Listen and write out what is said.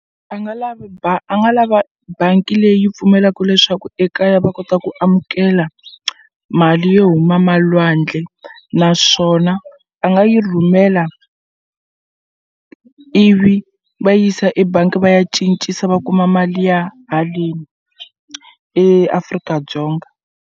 A nga lavi a nga lava bangi leyi pfumelaku leswaku ekaya va kota ku amukela mali yo huma malwandle naswona a nga yi rhumela ivi va yisa ebangi va ya cincisa va kuma mali ya haleni eAfrika-Dzonga.